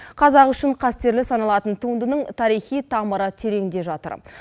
қазақ үшін қастерлі саналатын туындының тарихи тамыры тереңде жатыр